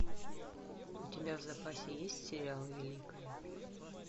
у тебя в запасе есть сериал великая